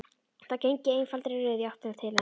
Þær gengu í einfaldri röð í áttina til hans.